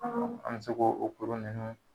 An bɛ k'o o kuru ninnu